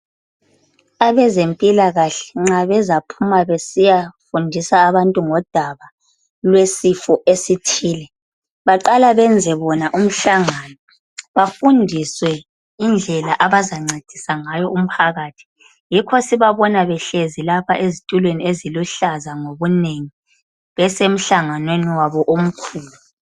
Abantu abezempilakahle nxa bezaphuma besiyafundisa abantu ngodaba lwesifo esithile baqala benze bona umhlangano befundiswe indlela abazancedisa ngayo umphakathi, yikho sibabona behlezi lapha ezitulweni eziluhlaza ngobunengi besemhlanganweni wabo omkhulu.